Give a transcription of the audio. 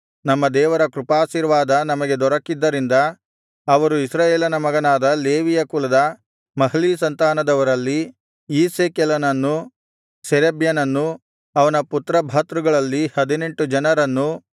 ನಮ್ಮ ದೇವರ ಕೃಪಾಶೀರ್ವಾದ ನಮಗೆ ದೊರೆಕ್ಕಿದ್ದರಿಂದ ಅವರು ಇಸ್ರಾಯೇಲನ ಮಗನಾದ ಲೇವಿಯ ಕುಲದ ಮಹ್ಲೀ ಸಂತಾನದವರಲ್ಲಿ ಈಸ್ಸೆಕೆಲನನ್ನೂ ಶೇರೇಬ್ಯನನ್ನೂ ಅವನ ಪುತ್ರಭ್ರಾತೃಗಳಲ್ಲಿ ಹದಿನೆಂಟು ಜನರನ್ನೂ